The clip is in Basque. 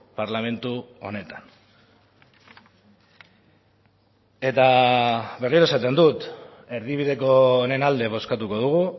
parlamentu honetan eta berriro esaten dut erdibideko honen alde bozkatuko dugu